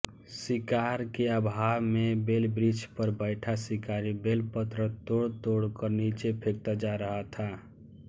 शिकार के अभाव में बेलवृक्षपर बैठा शिकारी बेलपत्र तोड़तोड़कर नीचे फेंकता जा रहा था